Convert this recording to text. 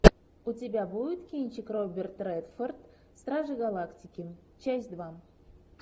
у тебя будет кинчик роберт рэдфорд стражи галактики часть два